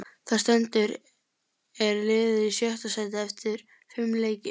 Sem stendur er liðið í sjötta sæti eftir fimm leiki.